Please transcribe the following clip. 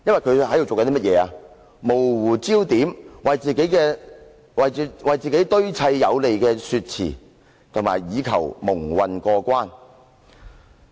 他模糊焦點，為自己堆砌有利說辭，以求蒙混過關。